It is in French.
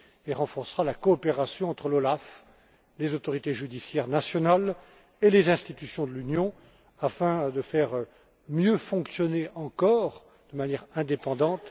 et renforcera la coopération entre l'OLAF, les autorités judiciaires nationales et les institutions de l'Union afin de mieux faire fonctionner encore l'OLAF, et ce, de manière indépendante.